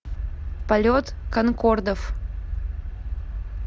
полет конкордов